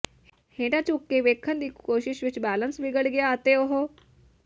ਹੇਠਾਂ ਝੁਕ ਕੇ ਵੇਖਣ ਦੀ ਕੋਸ਼ਿਸ਼ ਵਿਚ ਬੈਲੇਂਸ ਵਿਗੜ ਗਿਆ ਅਤੇ ਉਹ